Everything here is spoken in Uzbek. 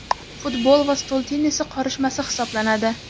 futbol va stol tennisi qorishmasi hisoblanadi.